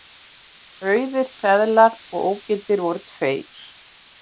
Auðir seðlar og ógildir voru tveir